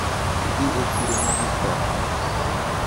Idhi e chiro mogik karang`o?